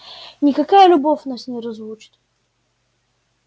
никакая любовь нас не разлучит